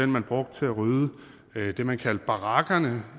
man brugte til at rydde det man kaldte barakkerne